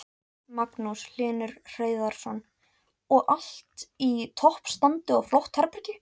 Magnús Hlynur Hreiðarsson: Og allt í toppstandi og flott herbergi?